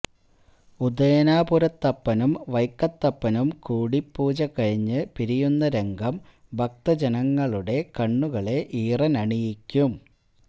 ഉദയനാപുരത്തപ്പനും വൈക്കത്തപ്പനും കൂടിപ്പൂജ കഴിഞ്ഞ് പിരിയുന്ന രംഗം ഭക്തജനങ്ങളുടെ കണ്ണുകളെ ഈറനണിയിക്കും